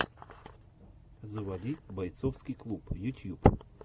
заводи борцовский клуб ютьюб